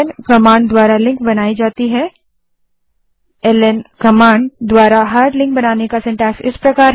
001252 001156 hard link बनाने के लिए ल्न कमांड का रचनाक्रम सिन्टैक्स इस प्रकार है